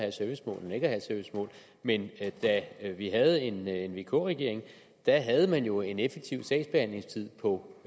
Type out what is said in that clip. et servicemål end ikke at have et servicemål men da vi havde en en vk regering havde man jo en effektiv sagsbehandlingstid på